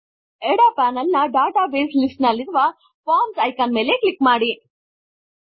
ಎಡ ಪ್ಯಾನೆಲ್ ನ database list ನಲ್ಲಿರುವ ಫಾರ್ಮ್ಸ್ ಐಕಾನ್ ಮೇಲೆ ಕ್ಲಿಕ್ ಮಾಡಿ